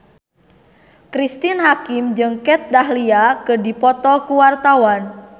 Cristine Hakim jeung Kat Dahlia keur dipoto ku wartawan